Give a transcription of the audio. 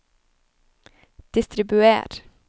distribuer